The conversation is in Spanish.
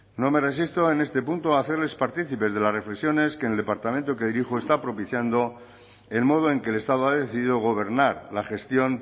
no me resisto en este punto a hacerles partícipes de las reflexiones que en el departamento que dirijo está propiciando el modo en que el estado ha decidido gobernar la gestión